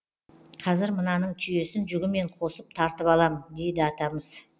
қазір мынаның түйесін жүгімен қосып тартып алам дейді атамыз